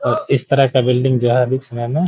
और इस तरह का बिल्डिंग जो है अभी के समय में --